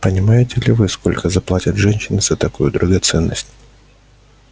понимаете ли вы сколько заплатят женщины за такую драгоценность